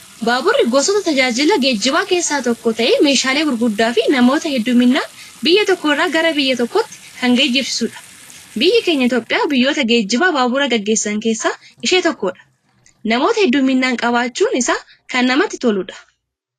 Baaburri gosoota tajaajila geejibaa keessa tokko ta'ee meeshaalee gurguddaa fi namoota hedduminaan biyya tokko irraa gara biyya tokkootti kan geejibsiisudha. Biyyi keenya Itoophiyaa biyyoota geejiba baaburaa gaggeessan keessa ishee tokkodha. Namoota hedduminaan qabachuun isaa kan namatti toludha.